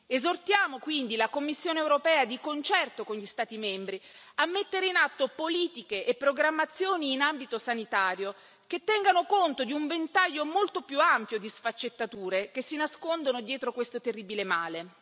Esortiamo quindi la Commissione europea, di concerto con gli Stati membri, a mettere in atto politiche e programmazioni in ambito sanitario, che tengano conto di un ventaglio molto più ampio di sfaccettature che si nascondono dietro questo terribile male.